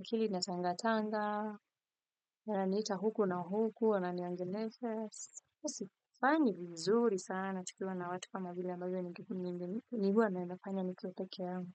akili ina tanga tanga, wananiita huku na huku, wana niongelesha. Huwa sifanyi vizuri sana tukiwa na watu kama vile ambayo ni huwa nafanya nikuwa peke yangu.